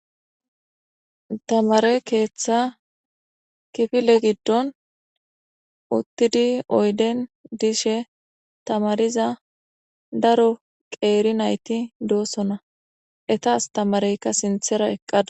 Tamare keeththa kifile giddon uttidi oyden dishe tamariza daro qeeri nayti doossona etaastamareykka sinthera eqqada.